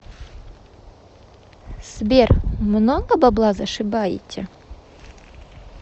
сбер много бабла зашибаете